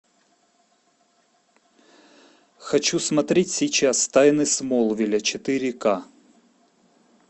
хочу смотреть сейчас тайны смолвиля четыре ка